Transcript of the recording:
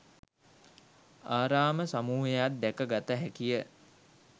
ආරාම සමූහයක් දැක ගත හැකිය.